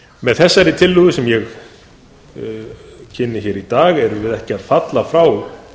með þessari tillögu sem ég kynni hér í dag erum við ekki að falla frá